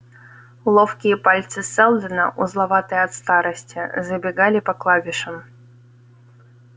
ловкие пальцы сэлдона узловатые от старости забегали по клавишам